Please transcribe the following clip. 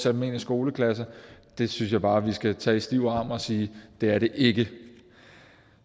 almindelig skoleklasse det synes jeg bare vi skal tage i stiv arm og sige det er det ikke